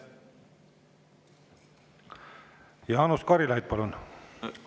Jaanus Karilaid, palun!